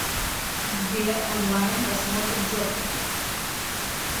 сбер онлайн просмотр джокер